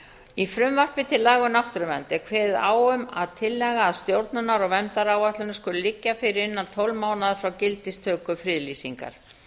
í frumvarpi til laga um náttúruvernd er kveðið á um að tillaga að stjórnunar og verndaráætlunum skuli liggja fyrir innan tólf mánaða frá gildistöku friðlýsingar